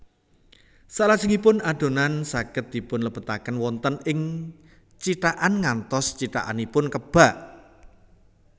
Salajengipun adonan saged dipunlebetaken wonten ing cithakan ngantos cithakanipun kebak